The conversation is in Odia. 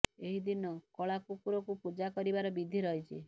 ଏହି ଦିନ କଳା କୁକୁର କୁ ପୂଜା କରିବାର ବିଧି ରହିଛି